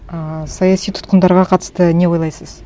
ааа саяси тұтқындарға қатысты не ойлайсыз